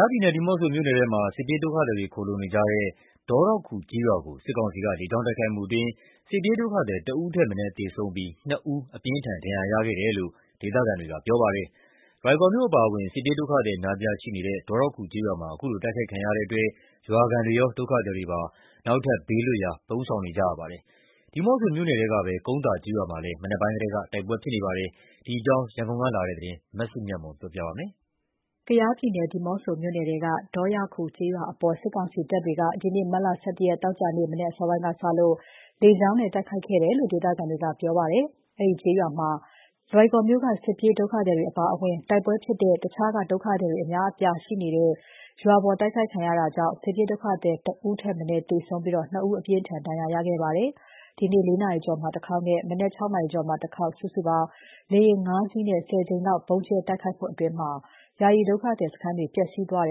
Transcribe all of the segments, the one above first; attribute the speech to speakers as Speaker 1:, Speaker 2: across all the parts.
Speaker 1: ားပြည်နယ် ဒီးမော့ဆိုမြို့နယ်ထဲမှာ စစ်ပြေးဒုက္ခသည်တွေခိုလှုံနေကြတဲ့ ဒေါရောက်ခူကျေးရွာ အပေါ် စစ်ကောင်စီက လေကြောင်းတိုက်ခိုက်မှုအတွင်း စစ်ပြေးဒုက္ခသည် ၁ ဦးထက်မနည်း သေဆုံး ပြီး ၂ ဦးအပြင်းအထန် ဒဏ်ရာရခဲ့တယ်လို့ ဒေသခံတွေက ပြောပါတယ်။ လွိုင်ကော်မြို့ အပါအဝင် စစ်ပြေးဒုက္ခသည် အများအပြားရှိတဲ့ ဒေါရောက်ခူကျေးရွာပေါ် ခုလိုတိုက်ခိုက်ခံရတဲ့အတွက် ရွာခံ တွေရော ဒုက္ခသည်တွေပါ နောက်ထပ်ဘေးလွတ်ရာ ထပ်ပြီး ပုန်းရှောင်နေကြရပါတယ်။ ဒီးမော့ဆို မြို့နယ်ထဲကပဲ ကုန်းသာကျေးရွာမှာလည်း မနက်ပိုင်းကတည်းက တိုက်ပွဲဖြစ်နေပါတယ်။ ဒီအကြောင်း ရန်ကုန်ကလာတဲ့သတင်းကို မစုမြတ်မွန်က တင်ပြပေးထားပါတယ်
Speaker 2: ။ ကယားပြည်နယ် ဒီးမော့ဆိုမြို့နယ်ထဲက ဒေါရောက်ခူကျေးရွာအပေါ် စစ်ကောင်စီတပ်တွေက ဒီနေ့ မတ်လ ၁၁ ရက် သောကြာနေ့ မနက်အစောပိုင်းကစပြီး လေကြောင်းက တိုက်ခိုက်နေကြောင်း ဒေသခံတွေက ပြောပါတယ်။ အဲဒီရွာမှာ လွိုင်ကော်မြို့က စစ်ပြေးဒုက္ခသည်တွေအပါအဝင် တိုက်ပွဲ ဖြစ်တဲ့ တခြားဒေသတွေက ဒုက္ခသည်တွေလည်း အများအပြားရှိနေတာဖြစ်ပြီး အခုလို တိုက်ခိုက်ခံ ရတဲ့အတွက် စစ်ပြေးဒုက္ခသည် ၁ ဦးထက်မနည်းသေဆုံးပြီး ၂ ဦးအပြင်းအထန် ဒဏ်ရာရခဲ့ပါတယ်။ လေယာဉ် ၅ စီးနဲ့ ဒီနေ့မနက် ၄ နာရီကျော်မှာ တခေါက်နဲ့ မနက် ၆ နာရီကျော်မှာ ဗုံးကြဲတိုက်ခိုက်ခံ ရပြီး ယာယီဒုက္ခသည်စခန်းတွေ ပျက်စီးသွားတ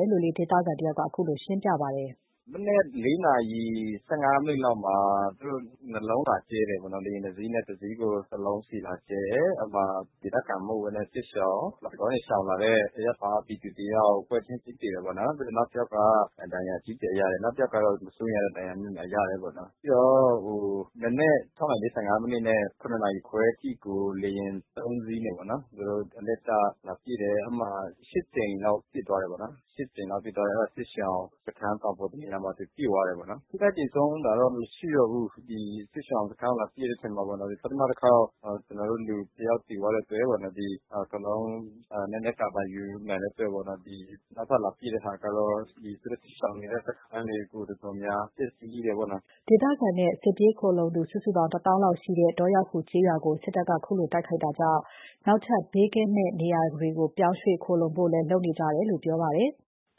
Speaker 2: ယ်လို့ ဒေသခံတယောက်က အခုလို ရှင်းပြပါတယ်။
Speaker 1: “မနက် ၄ နာရီ ၁၅ မိနစ်လောက်မှာ သူတို့ ၂ လုံးလာကြဲတယ်ပေါ့နော်။ လေယာဉ် ၂ စီးနဲ့ တစီးကို တလုံးစီးလာကြဲတယ်။ အဲ့မှာ ဒေသခံမဟုတ်ဘဲနဲ့ စစ်ရှောင် လွိုင်ကော်ကနေ ရှောင်လာတဲ့ အရပ်သား ပြည်သူတယောက် ပွဲချင်းပြီးသေတာပေါ့နော်။ နောက်တယောက်က ဒဏ်ရာအကြီးအကျယ်ရတယ်။ နောက်တယောက်ကတော့ မစိုးရိမ်ရတဲ့ ဒဏ်ရာမျိုးရတယ်ပေါ့နော်။ ပြီးတော့ မနက် ၆ နာရီ ၄၅ မိနစ်နဲ့ ၇ နာရီခွဲအထိကို လေယာဉ် ၃ စီးနဲ့ ပေါ့နော်၊ သူတို့ အလှည့်ကျလာပစ်တယ်။ အဲ့မှာ ၈ ကြိမ်လောက် ပစ်သွားတယ်ပေါ့နော်၊ စစ်ရှောင်စခန်းတောင်ပေါ် တနေရာမှာ သူပစ်သွားတယ်ပေါ့နော်။ (ဒုတိယ အကြိမ် ဗုံးကြဲတာ) ထိခိုက်သေဆုံးတာ မရှိတော့ဘူး။ ဒီစစ်ရှောင်စခန်းကို လာပစ်တဲ့အချိန်မှာပေါ့နော်၊ ပထမတခေါက် ကျနော်တို့လူတယောက် သေသွားတဲ့အတွက်ပေါ့နော်။ ဒီအကုန်လုံး နည်းနည်း ကာဗာ ယူနိုင်တဲ့အတွက်ပေါ့နော်၊ ဒီနောက်ထပ်လာပစ်တဲ့ဟာကတော့ ဒီသူတို့ရှောင်နေတဲ့ စခန်းတွေကို တော်တော်များများ ပျက်စီးတယ်ပေါ့နော်
Speaker 2: ။” ဒေသခံနဲ့ စစ်ပြေးခိုလှုံသူစုစုပေါင်း ၁ သောင်းလောက်ရှိတဲ့ ဒေါရောက်ခူကျေးရွာကို စစ်တပ်က ခုလို တိုက်ခိုက်တာကြောင့် နောက် ထပ် ဘေးကင်းမယ့် နေရာတွေကို ပြောင်းရွှေ့ခိုလှုံဖို့လည်း လုပ်နေကြ တယ်လို့ ပြောပါတယ်။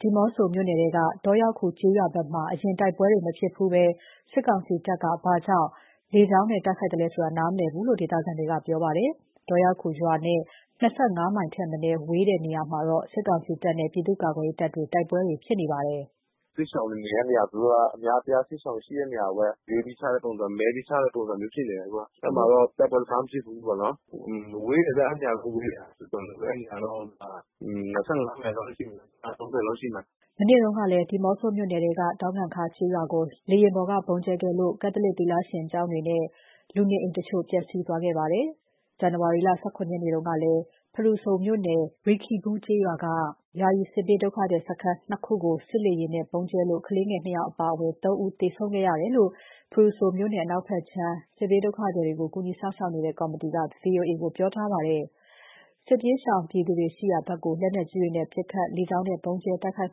Speaker 2: ဒီးမော့ဆိုမြို့နယ်ထဲမှာ ဒေါရောက်ခူကျေးရွာဘက်မှာ အရင်တိုက်ပွဲတွေ မဖြစ်ဖူးဘဲ စစ်ကောင်စီတပ်က ဘာကြောင့် လေကြောင်းနဲ့ တိုက်ခိုက်လဲဆိုတာ နားမလည်ဘူးလို့ ဒေသခံတွေက ပြောပါတယ်။ ဒေါ ရောက်ခူရွာနဲ့ ၂၅ မိုင်ထက်မနည်း ဝေးတဲ့နေရာတွေမှာတော့ စစ်ကောင်စီတပ်နဲ့ ပြည်သူ့ကာကွယ် ရေးတပ်တွေ တိုက်ပွဲတွေဖြစ်နေပါတယ်။
Speaker 1: “သူတို့က အများအပြား စစ်ရှောင်ရှိတဲ့နေရာကိုပဲ ရွေးပြီးချတဲ့ပုံစံ၊ မဲပြီး ချတဲ့ ပုံစံမျိုးဖြစ်နေတယ် အခုက။ အဲ့ဒီမှာတော့ တိုက်ပွဲတခါမှမဖြစ်ဖူးဘူးပေါ့နော်။ ဝေးတယ်ဗျ၊ အဲ့ဒီ နေရာနဲ့ တော်တော်ဝေးတယ်၊ အဲ့ဒီနေရာတွေ ၂၅ မိုင်၊ မိုင် ၃၀ လောက်ရှိမယ်။
Speaker 2: ” မနေ့တုန်းကလည်း ဒီးမော့ဆိုမြို့နယ်ထဲက ဒေါငံခါးကျေးရွာကို လေယာဉ်ပေါ်က ဗုံးကြဲခဲ့လို့ ကက်သလစ် သီလရှင်ကျောင်းတွေနဲ့ လူနေအိမ်တချို့ ပျက်စီးသွားခဲ့ပါသေးတယ်။ ဇန်နဝါရီ ၁၇ ရက်နေ့ကလည်း ဖရူဆိုမြို့နယ် ရီခီးဘူးကျေးရွာက ယာယီစစ်ဘေးဒုက္ခသည်စခန်း ၂ ခုကို စစ် လေယာဉ်နဲ့ ဗုံးကြဲလို့ ကလေးငယ် ၂ ဦးအပါအဝင် ၃ ဦး သေဆုံးခဲ့ရတယ်လို့ ဖရူဆိုမြို့နယ် အနောက်ခြမ်း စစ်ဘေးရှောင်ကူညီစောင့်ရှောက်ရေး ကော်မတီက ဗွီအိုအေကို ပြောဆိုထားပါတယ်။ စစ်ဘေးရှောင်ပြည်သူတွေ ရှိရာဘက်ကို လက်နက်ကြီးနဲ့ ပစ်ခတ်၊ လေကြောင်းနဲ့ ဗုံးကြဲ တိုက်ခိုက်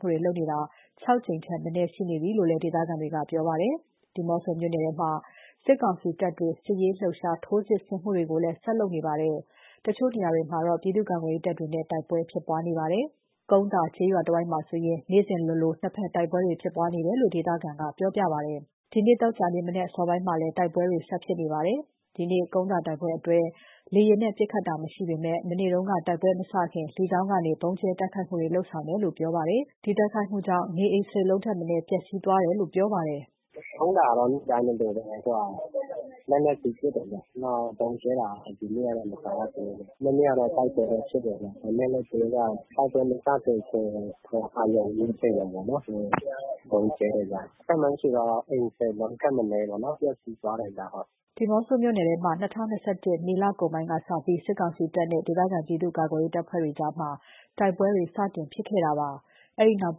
Speaker 2: တာ ၆ ကြိမ် ထက်မနည်း ရှိနေပြီလို့ ဒေသခံက ပြောပါတယ်။ ဒီးမော့ဆိုနယ်မြို့နယ်ထဲမှာ စစ်ကောင်စီ တပ်တွေက စစ်ရေးလှုပ်ရှားမှုတွေနဲ့အတူ ဆက်ပြီး ထိုးစစ်ဆင်နေပါတယ်။ တချို့နေရာတွေမှာတော့ ပြည်သူ့ကာကွယ်ရေးတပ်တွေနဲ့ တိုက်ပွဲတွေ ဖြစ်ပွားနေပါတယ်။ ကုန်းသာကျေးရွာတဝိုက်မှာဆိုရင် နေ့စဉ်လိုလို နှစ်ဖက်တိုက်ပွဲတွေ ဖြစ်နေပြီး ဒီနေ့ သောကြာနေ့ မနက်စောစောပိုင်းမှာလည်း တိုက်ပွဲတွေ ဆက်ဖြစ်နေတဲ့အကြောင်း ဒေသခံကပြောပါတယ်။ ဒီနေ့ ကုန်းသာရွာဘက်က တိုက်ပွဲတွေမှာတော့ လေယာဉ်နဲ့ ပစ်ခတ်တာမရှိပေမယ့် မနေ့တုန်းက တိုက်ပွဲမစခင်မှာ လေကြောင်းကနေ အရင် ဗုံးကြဲတိုက်ခိုက်တယ်လို့ ပြောပါတယ်။
Speaker 1: “ကုန်းသာတော့ နေ့တိုင်းလိုလိုပဲ အခုက လက်နက်ကြီးပစ်တယ်ဗျ။ နောက်ဗုံးကြဲတာ ဒီနေ့တော့ မကြားရသေးဘူး။ မနေ့ကတော့ တိုက်ပွဲဖြစ်တယ်ဗျ။ ဒါပေမယ့် သူတို့က တိုက်ပွဲမစခင် အာရုံဦး အချိန်ကပေါ့နော်၊ ဗုံးကြဲတယ်ဗျ။ ခန့်မှန်ခြေ အိမ် ၁၀ လုံးထက်မနည်းပေါ့နော် ပျက်စီးသွားတယ်ဗျ။”
Speaker 2: ဒီးမော့ဆိုမြို့နယ်ထဲမှာ ၂၀၂၁ ခုနှစ် မေလကုန်ပိုင်းကစပြီး စစ်ကောင်စီတပ်တွေနဲ့ ဒေသခံပြည်သူ့ ကာကွယ်ရေးအဖွဲ့တွေကြား တိုက်ပွဲတွေ စတင်ဖြစ်ခဲ့တာပါ။ အဲဒီနောက်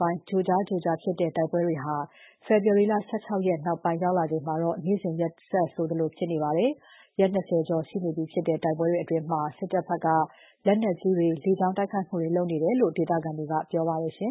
Speaker 2: ပိုင်း ကြိုကြား ကြိုကြား ဖြစ်ခဲ့တဲ့ တိုက်ပွဲတွေဟာ ဖေဖော်ဝါရီ ၁၆ ရက်နောက်ပိုင်းမှာတော့ နေ့စဉ်ရက်ဆက်ဆိုသလို ဖြစ် နေပါတယ်။ ရက် ၂၀ ကျော် ရှိနေပြီဖြစ်တဲ့ တိုက်ပွဲတွေအတွင်း စစ်တပ်ဘက် လက်နက်ကြီးတွေ၊ လေကြောင်း တိုက်ခိုက်မှုတွေ လုပ်နေတယ်လို့ ဒေသခံတွေက ပြောပါတယ်။